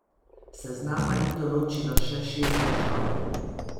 Seznama ni določilo še šest držav.